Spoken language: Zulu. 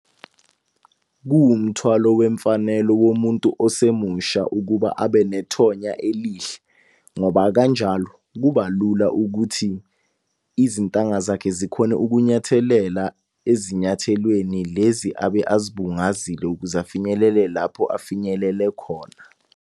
Kuwumthwalo wemfanelo womuntu osemusha ukuba abe nethonya elihle ngoba kanjalo kuba lula ukuthi izintanga zakhe zikhone ukunyathelela ezinyathelweni lezi abe azibungazile ukuze afinyelele lapho afinyelele khona.